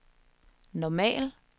normal